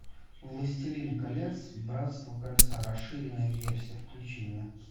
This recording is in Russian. властелин колец братство кольца расширенная версия включи мне